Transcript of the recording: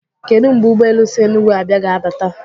Kedụ mgbe ụgbọelu si Enugwu abịạ ga-abata?